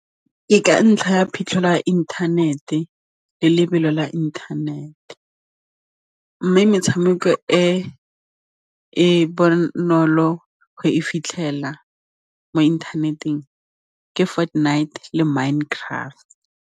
Ke ka ntlha ya phitlho la inthanete le lebelo la inthanete mme metshameko e e bonolo go e fitlhelela mo inthaneteng ke Fortnite le Mind Craft.